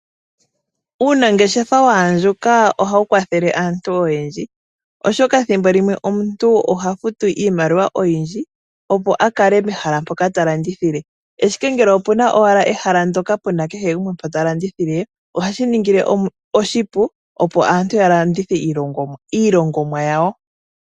Uunangeshefa waandjuka ohawu kwathelw aantu oyendji, oshoka thimbo limwe omuntu oha futu iimaliwa oyindji, opo a kale pehala mpoka ta landithile, ashike ngele opuna owala ehala ndoka kehe gumwe ta landithile ohashi mu ningile oshipu, opo aantu ya landithe iilongomwa yawo.